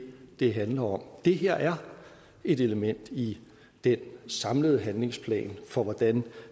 det handler om det her er et element i den samlede handlingsplan for hvordan